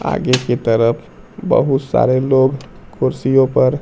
आगे की तरफ बहुत सारे लोग कुर्सियों पर--